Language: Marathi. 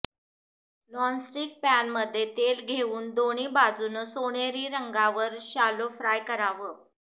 नॉनस्टिक पॅनमध्ये तेल घेऊन दोन्ही बाजूनं सोनेरी रंगावर शॅलो फ्राय करावं